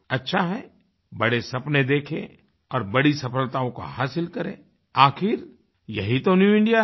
अच्छा है बड़े सपने देखें और बड़ी सफलताओं को हासिल करें आखिर यही तो न्यू इंडिया है